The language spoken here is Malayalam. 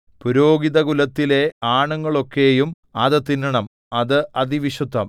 പുരോഹിതകുലത്തിലെ ആണുങ്ങളൊക്കെയും അത് തിന്നണം അത് അതിവിശുദ്ധം